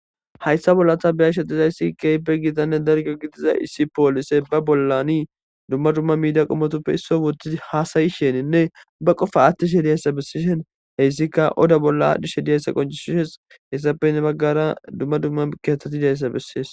Hayissani ta beyashe dizayisi issi poliseyi ba bollani duma duma hasayishe qofa athishe dizayisa ettika odda bolla dizayisa qoncisesi ettappe heni baggara